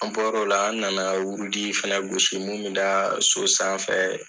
An bɔr'ola , an nana wurudi fana gosi mun bɛ da so sanfɛ.